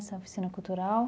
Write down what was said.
Essa oficina cultural.